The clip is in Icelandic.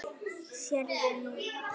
Sérðu nú?